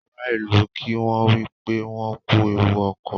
Àrà ilú kí wón wípé wón kú ẹwù okọ.